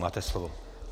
Máte slovo.